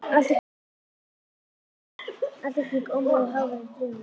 Allt í kring ómuðu háværar drunur.